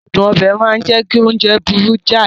Adun obe máa ń jẹ́ kí oúnjẹ burú jáì